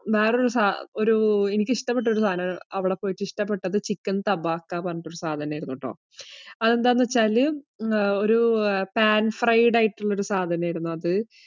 വേറൊരു സാ എനിക്ക് ഇഷ്ടപ്പെട്ട ഒരു സാധനമായിരുന്നു. അവിടെ പോയിട്ട് ഇഷ്ടപ്പെട്ടത് ചിക്കന്‍ തബാക്കാ എന്ന് പറഞ്ഞിട്ടുള്ള ഒരു സാധനമായിരുന്നു കേട്ടോ. അത് എന്താന്നു വച്ചാല് pan fried ആയിട്ടുള്ള ഒരു സാധനം ആയിരുന്നു,